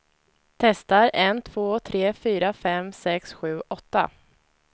Testar en två tre fyra fem sex sju åtta.